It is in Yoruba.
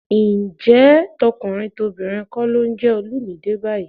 Ǹjẹ́ tọkùnrin tobìnrin kọ́ ló ń jẹ Olumide báyìí?